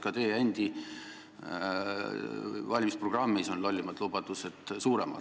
Ka teie endi valimisprogrammis on lollimad lubadused suuremad.